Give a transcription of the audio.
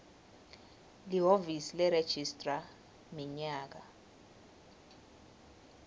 lihhovisi leregistrar minyaka